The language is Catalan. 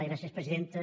gràcies presidenta